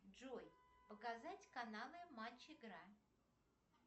джой показать каналы матч игра